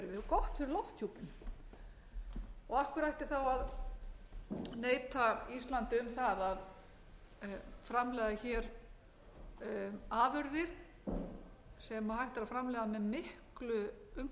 fyrir lofthjúpinn af hverju ætti þá að neita íslandi um það að framleiða hér afurðir sem hægt er að framleiða með miklu umhverfisvænni hætti